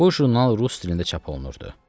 Bu jurnal rus dilində çap olunurdu.